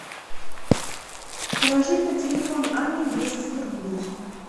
положить на телефон ани двести рублей